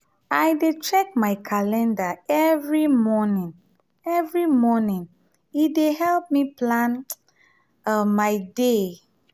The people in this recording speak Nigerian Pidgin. i dey check my calender every morning e every morning e um dey help me plan um my day. um